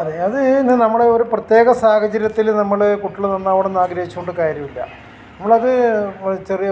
അതെ അത് ഇന്ന് നമ്മൾ ഒരു പ്രത്യേക സാഹചര്യത്തിൽ നമ്മൾ കുട്ടികൾ നന്നാവണം എന്ന് ആഗ്രഹിച്ചോണ്ട് കാര്യോല്യ നമ്മളത് ചെറിയ